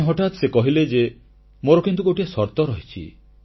ପୁଣି ହଠାତ୍ ସେ କହିଲେ ଯେ ମୋର କିନ୍ତୁ ଗୋଟିଏ ସର୍ତ୍ତ ରହିଛି